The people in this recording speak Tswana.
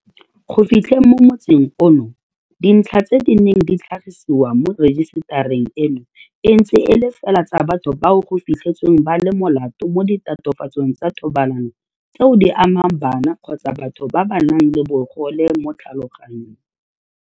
Go fitlheng mo motsing ono, dintlha tse di neng di tlhagisiwa mo rejisetareng eno e ntse e le fela tsa batho bao go fitlhetsweng ba le molato mo ditatofatsong tsa thobalano tseo di amang bana kgotsa batho ba ba nang le bogole mo tlhaloganyong.